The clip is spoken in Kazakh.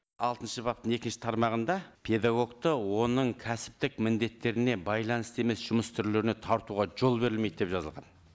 алтыншы баптың екінші тармағында педагогты оның кәсіптік міндеттеріне байланысты емес жұмыс түрлеріне тартуға жол берілмейді деп жазылған